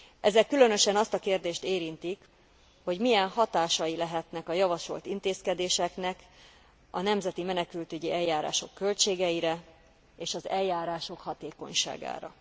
Ezek különösen azt a kérdést érintik, hogy milyen hatásai lehetnek a javasolt intézkedéseknek a nemzeti menekültügyi eljárások költségeire és az eljárások hatékonyságára.